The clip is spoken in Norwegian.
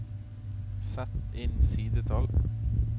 Sett inn sidetall